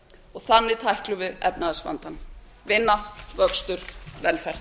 og þannig tæklum við efnahagsvandann vinna vöxtur velferð